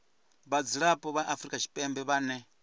vhadzulapo vha afrika tshipembe vhane